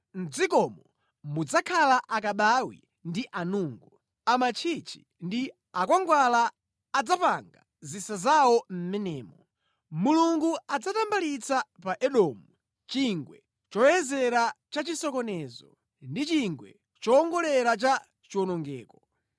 Mʼdzikomo mudzakhala akabawi ndi anungu; amantchichi ndi akhwangwala adzapanga zisa zawo mʼmenemo. Mulungu adzatambalitsa pa Edomu chingwe choyezera cha chisokonezo ndi chingwe chowongolera cha chiwonongeko.